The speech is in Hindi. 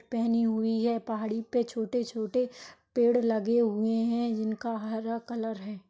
पेहनी हुई है। पहाड़ी पर छोटे छोटे पेड़ लगे हुए है। जिनका हरा कलर है।